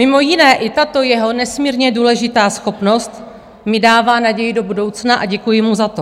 Mimo jiné i tato jeho nesmírně důležitá schopnost mi dává naději do budoucna a děkuji mu za to.